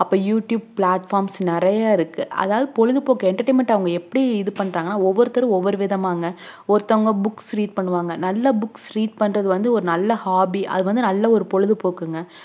அப்ப youtubeplatforms நெறைய இருக்கு அதாவது பொழுதுபோக்க entertainment அவங்க எப்படி இது பன்றாங்கனா ஒவ்வொருதர் ஒவ்வொருவிதமாங்க ஒருத்தவங்க booksread பண்ணுவாங்க நல்லா booksread பண்றது வந்து நல்ல hobby அது வந்து ஒரு நல்ல பொழுதுபோக்குங்க